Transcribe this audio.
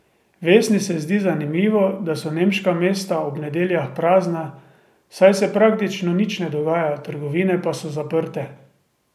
Vesni se zdi zanimivo, da so nemška mesta ob nedeljah prazna, saj se praktično nič ne dogaja, trgovine pa so zaprte.